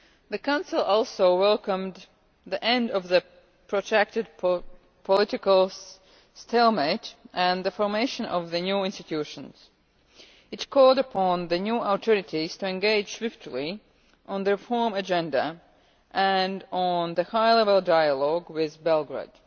The Council also welcomed the end of the protracted political stalemate and the formation of the new institutions. It called upon the new authorities to engage swiftly on the reform agenda and on the High Level Dialogue with Belgrade.